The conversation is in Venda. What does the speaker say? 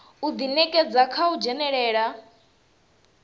u ḓinekedza kha u dzhenelela